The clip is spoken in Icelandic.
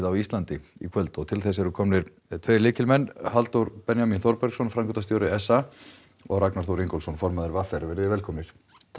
á Íslandi í kvöld til þess eru komnir tveir lykilmenn Halldór Benjamín Þorbergsson framkvæmdastjóri s a og Ragnar Þór Ingólfsson formaður v r velkomnir